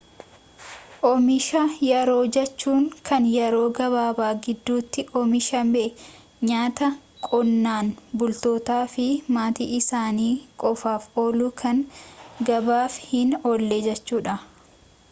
oomisha yeroo jechuun kan yeroo gabaabaa gidduutti oomishamee nyaata qonnaan bultootaafi maatii isaani qofaaf oolu kan gabaaf hin oolle jechuudha